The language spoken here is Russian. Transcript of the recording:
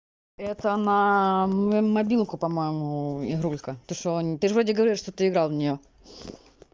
это на мобилку по-моему игрулька ты что ты же вроде говорил что ты играл в неё